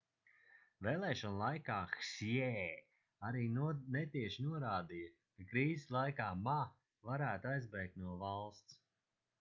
vēlēšanu laikā hsjē arī netieši norādīja ka krīzes laikā ma varētu aizbēgt no valsts